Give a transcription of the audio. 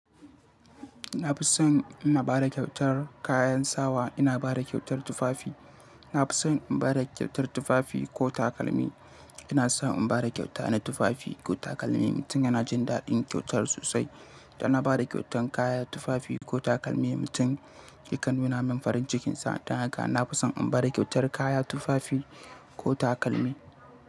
Na fi son ina bada kyautar kayan sawa, ina bada kyautar tufafi. Na fi son in bada kyautar tufafi ko takalmi. Ina son in bada kyauta na tufafi ko takalmi. Mutum yana jin daɗin kyautar sosai. Dan na bada kyautan kaya, tufafi ko takalmi, mutum yakan nuna min farin cikinsa. Dan haka na fi son in bada kyautar kaya, tufafi ko takalmi.